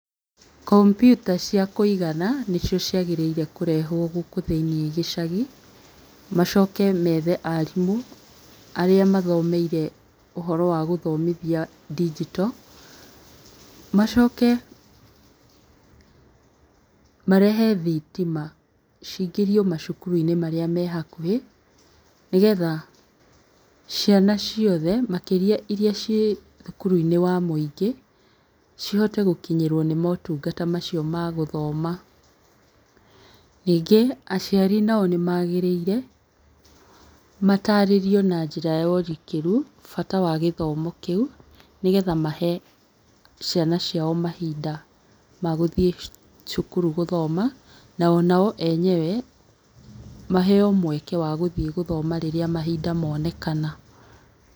Computer ciakũigana nĩcio ciagĩrĩirwo kũrehwo gũkũ thĩinĩ gĩcagi, macoke methe arimũ, arĩa mathomeire ũhoro wa gũthomithia ndigito, macoke marehe thitima cingĩrio macukuruinĩ marĩa me hakuhĩ, nĩgetha ciana ciothe, makĩria iria ciĩ thukuruinĩ wa mũingĩ, cihote gũkinyĩrwo nĩ motungata macio ma gũthoma. Ningĩ aciari nao nĩmagĩrĩire matarĩrio na njĩra ya ũrikĩru bata wa gĩthomo kĩũ, nĩgetha mahe ciana ciao mahinda magũthiĩ cukuru gũthoma, na onao enyewe, maheo mweke wa gũthiĩ gũthoma rĩrĩa mahinda monekana.